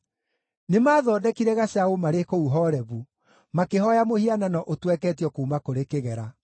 Nĩmathondekire gacaũ marĩ kũu Horebu, makĩhooya mũhianano ũtweketio kuuma kũrĩ kĩgera.